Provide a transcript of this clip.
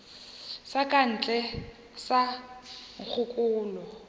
sa ka ntle sa nkgokolo